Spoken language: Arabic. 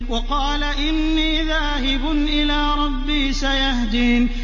وَقَالَ إِنِّي ذَاهِبٌ إِلَىٰ رَبِّي سَيَهْدِينِ